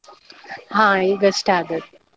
ಹಾ ಈಗ್ ಅಷ್ಟೇ ಆದದ್ದು.